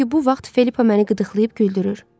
Çünki bu vaxt Filippa məni qıdıqlayıb güldürür.